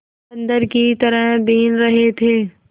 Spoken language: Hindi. बंदर की तरह बीन रहे थे